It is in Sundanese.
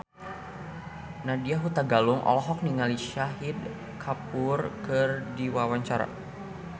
Nadya Hutagalung olohok ningali Shahid Kapoor keur diwawancara